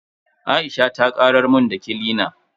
Aisha ta karar mun da kilina na.